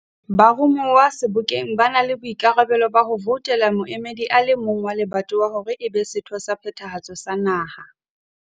Baromuwa Sebokeng ba na le boikarabelo ba ho voutela moemedi a le mong wa lebatowa hore e be setho sa Phethahatso sa Naha.